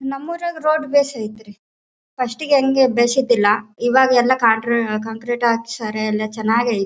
ನಮ್ ಊರಾಗ್ ರೋಡ್ ಬೇಸ್ ಆಯ್ತ್ರಿ ಫಸ್ಟ್ ಗೆ ಹಂಗೆ ಬೇಸ್ ಇದ್ದಿಲ್ಲ ಈವಾಗ ಎಲ್ಲಾ ಕಾಕ್ರೀಟ್ ಹಾಕಿ ಸರಿಯಾಗಿ ಎಲ್ಲಾ ಚೆನ್ನಾಗೈತೆ.